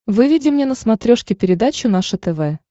выведи мне на смотрешке передачу наше тв